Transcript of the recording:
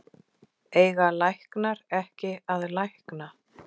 Eiga læknar ekki að lækna?